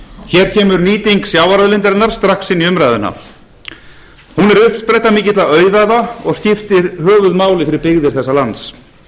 hér kemur nýting sjávarauðlindarinnar strax í umræðuna hún er uppspretta mikilla auðæfa og skiptir höfuðmáli fyrir byggðir